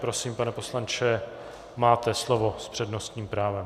Prosím, pane poslanče, máte slovo s přednostním právem.